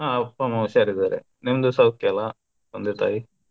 ಹ ಅಪ್ಪ-ಅಮ್ಮ ಹುಷಾರಿದ್ದಾರೆ ನಿಮ್ದು ಸೌಖ್ಯ ಅಲ್ಲ ತಂದೆ-ತಾಯಿ.